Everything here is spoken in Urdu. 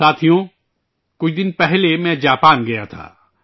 ساتھیو، کچھ دن پہلے میں جاپان گیا تھا